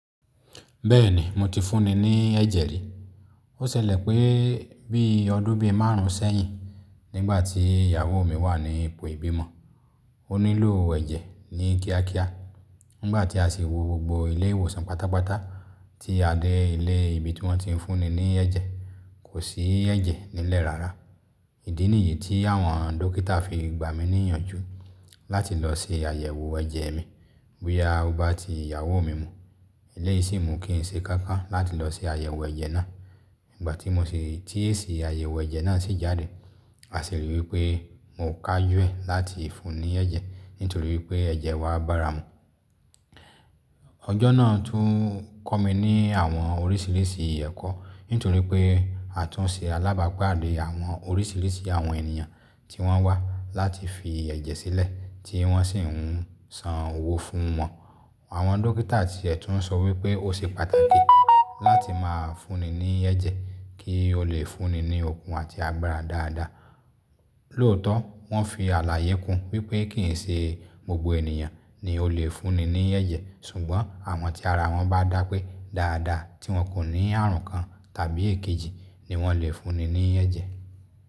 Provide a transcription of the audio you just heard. Bẹ́ẹ̀ni mo ti fúnni ní ẹ̀jẹ̀ rí. Ó ṣẹlẹ̀ pé bí ọdún bí márùn sẹ́yìn nígbà tí ìyàwó mi wà ní ipò ìbímọ, mó nílò ẹ̀jẹ̀ ní kíákíá. Nígbà tí a si wo gbogbo ilé ìwòsàn pátápátá tí adé ilé ibi tí wọ́n ti ń fúnni ní ẹ̀jẹ̀ kò sí ẹ̀jẹ̀ nílẹ̀ rárá. Ìdí nìyí tí àwọn dókítà fi gba mi níyànjú láti lọ ṣe àyẹ̀wò ẹ̀jẹ̀ mi. Bóyá o bá ti ìyàwó mi mu, eléyìí si mu kì n ṣe kankan láti lọ ṣe àyẹ̀wò ẹ̀jẹ̀ náà. Nígbà tí èsì àyẹ̀wò ẹ̀jẹ̀ náà si jáde, a sì rí i wí pé n mo kajù e láti fúnni ní ẹ̀jẹ̀ nítorí pé ẹ̀jẹ̀ wà bára mu. Ọjọ́ náà tún kọ́ mi ní àwọn oríṣìíríṣìí ẹ̀kọ́. Nítorí pé a tún ṣe alábapadé àwọn oríṣìíríṣìí àwọn ènìyàn tí wọ́n wá láti fi ẹ̀jẹ̀ sílẹ̀ tí wọ́n sì ń san owó fún wọn. Àwọn dókítà ti ètún sọ wí pé ó ṣe pàtàkì láti máa fúnni ní ẹ̀jẹ̀ kí o lè fúnni ní okun àti agbára dáadáa. Lóòótọ́ wọ́n fi àlàyé kún wí pé kì í ṣe gbogbo ènìyàn ni o lè fúnni ní ẹ̀jẹ̀. Ṣùgbọ́n àwọn tí ara wọn bá dá pé dáadáa tí wọn kò ní àrùn kan tàbí èkejì ni wọ́n lè fúnni ní ẹ̀jẹ̀.